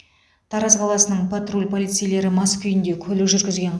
тараз қаласының патруль полицейлері мас күйінде көлік жүргізген